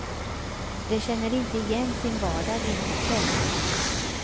De känner inte igen sin vardag i hotet.